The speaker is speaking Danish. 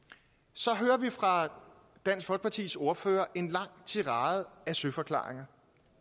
så hører vi fra dansk folkepartis ordfører en lang tirade af søforklaringer